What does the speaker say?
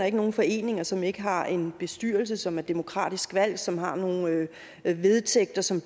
ikke nogen foreninger som ikke har en bestyrelse som er demokratisk valgt som har nogle vedtægter som